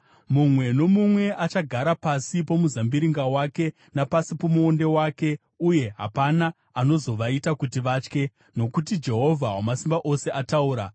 Mumwe nomumwe achagara pasi pomuzambiringa wake, napasi pomuonde wake, uye hapana anozovaita kuti vatye, nokuti Jehovha Wamasimba Ose ataura.